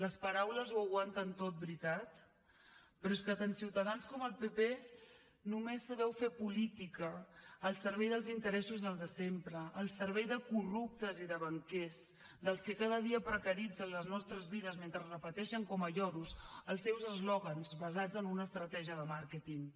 les paraules ho aguanten tot veritat però és que tant ciutadans com el pp només sabeu fer política al servei dels interessos dels de sempre al servei de corruptes i de banquers dels que cada dia precaritzen les nostres vides mentre repeteixen com a lloros els seus eslògans basats en una estratègia de màrqueting